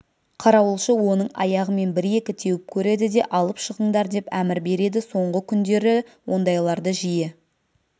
қарауылшы оның аяғымен бір-екі теуіп көреді де алып шығыңдар деп әмір береді соңғы күндері ондайларды жиі